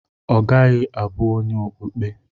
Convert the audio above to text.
Ọ gaghị abụ onye okpukpe.